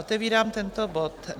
Otevírám tento bod.